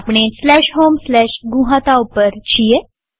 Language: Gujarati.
આપણે homegnuhata ઉપર છીએ